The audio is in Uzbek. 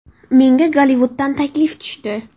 Menga Gollivuddan taklif tushdi.